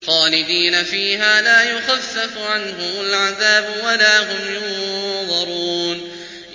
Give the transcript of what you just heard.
خَالِدِينَ فِيهَا لَا يُخَفَّفُ عَنْهُمُ الْعَذَابُ وَلَا هُمْ يُنظَرُونَ